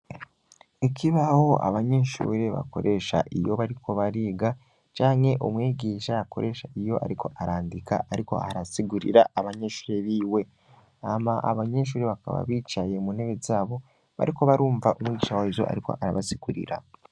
Ikibaho abanyinshure bakoresha iyo bariko bariga canke umwigisha akoresha iyo, ariko arandika, ariko arasigurira abanyinshure biwe ama abanyinshuri bakaba bicaye mu ntebe zabo bariko barumva umwicawezo, ariko arabasigurira.